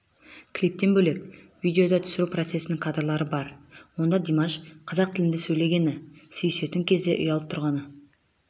клиптен бөлек видеода түсіру процесінің кадрлары бар онда димаш қазақ тілінде сөйлегені сүйісетін кезде ұялып тұрғаны